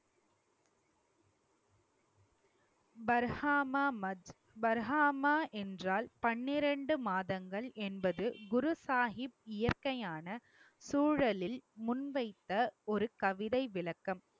பர்காமா மத் பர்காமா என்றால் பன்னிரண்டு மாதங்கள் என்பது குரு சாஹிப் இயற்கையான சூழலில் முன் வைத்த ஒரு கவிதை விளக்கம்